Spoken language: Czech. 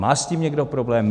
Má s tím někdo problém?